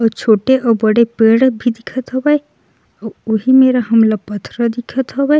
कुछ छोटे अउ बड़े पेड़ भी दिखत हवे उहि मेरा हमला पथरा दिखत हवे। --